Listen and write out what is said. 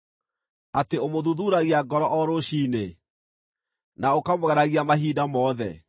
atĩ ũmũthuthuuragia ngoro o rũciinĩ, na ũkamũgeragia mahinda mothe?